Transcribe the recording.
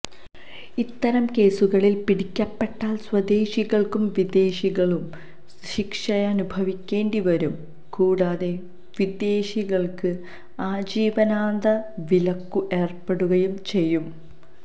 ഇത്തരം കേസുകളിൽ പിടിക്കപ്പെട്ടാൽ സ്വദേശികൾക്കും വിദേശികളും ശിക്ഷയനുഭവിക്കേണ്ടി വരും കൂടാതെ വിദേശികൾക്ക് ആജീവനാന്ത വിലക്കും ഏർപ്പെടുകയും ചെയ്യും